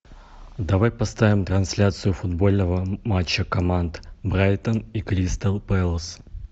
давай поставим трансляцию футбольного матча команд брайтон и кристал пэлас